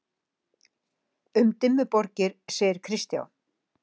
Um Dimmuborgir segir Kristján: